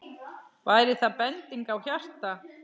Væri það bending á hjarta?